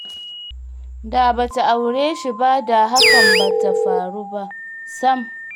Da ba ta aure shi ba da hakan ba ta faru ba sam